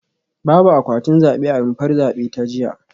Babu akwatin zabe a rumfar zabe ta jiya